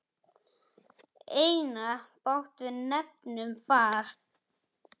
Einatt bát við nefnum far.